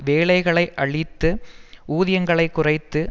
வேலைகளை அழித்து ஊதியங்களைக் குறைத்து